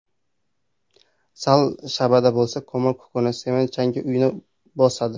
Sal shabada bo‘lsa, ko‘mir kukuni, sement changi uyni bosadi.